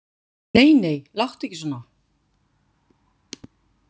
Nei, nei, láttu ekki svona.